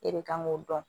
E de kan k'o dɔn